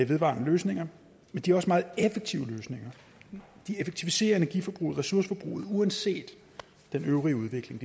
vedvarende løsninger men de er også meget effektive løsninger de effektiviserer energiforbruget ressourceforbruget uanset den øvrige udvikling